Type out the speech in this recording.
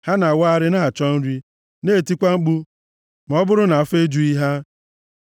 Ha na-awagharị na-achọ nri, na-etikwa mkpu ma ọ bụrụ na afọ ejughị ha.